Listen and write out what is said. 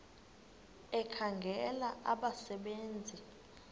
ekhangela abasebe nzi